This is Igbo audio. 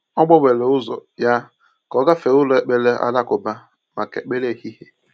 Ọ gbanwere ụzọ ya ka ọ gafee ụlọ ekpere alakụba maka ekpere ehihie.